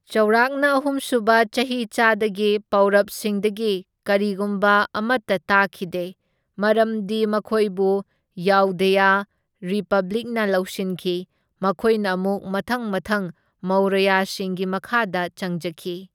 ꯆꯥꯎꯔꯥꯛꯅ ꯑꯍꯨꯝ ꯁꯨꯕ ꯆꯍꯤꯆꯥꯗꯒꯤ ꯄꯧꯔꯕꯁꯤꯡꯗꯒꯤ ꯀꯔꯤꯒꯨꯝꯕ ꯑꯃꯇ ꯇꯥꯈꯤꯗꯦ ꯃꯔꯝꯗꯤ ꯃꯈꯣꯏꯕꯨ ꯌꯥꯎꯙꯦꯌꯥ ꯔꯤꯄꯕ꯭ꯂꯤꯛꯅ ꯂꯧꯁꯤꯟꯈꯤ, ꯃꯈꯣꯏꯅ ꯑꯃꯨꯛ ꯃꯊꯪ ꯃꯊꯪ ꯃꯧꯔꯌꯥꯁꯤꯡꯒꯤ ꯃꯈꯥꯗ ꯆꯪꯖꯈꯤ꯫